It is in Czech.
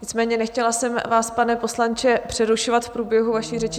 Nicméně nechtěla jsem vás, pane poslanče, přerušovat v průběhu vaší řeči.